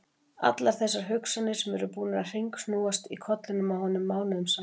Allar þessar hugsanir sem eru búnar að hringsnúast í kollinum á honum mánuðum saman!